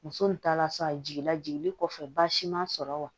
Muso nin ta la sa a jiginna jiginni kɔfɛ basi man sɔrɔ wa